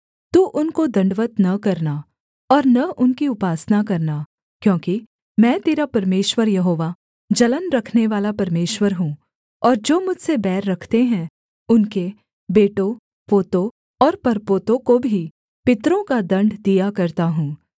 तू उनको दण्डवत् न करना और न उनकी उपासना करना क्योंकि मैं तेरा परमेश्वर यहोवा जलन रखनेवाला परमेश्वर हूँ और जो मुझसे बैर रखते हैं उनके बेटों पोतों और परपोतों को भी पितरों का दण्ड दिया करता हूँ